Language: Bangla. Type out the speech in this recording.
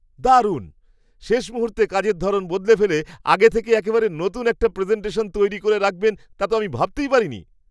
দারুণ! শেষ মুহূর্তে কাজের ধরণ বদলে ফেলে আগে থেকে একেবারে নতুন একটা প্রেজেন্টেশন তৈরি করে রাখবেন তা তো আমি ভাবতেই পারিনি!